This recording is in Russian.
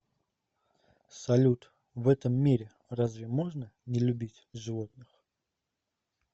салют в этом мире разве можно не любить животных